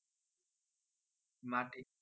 মাটি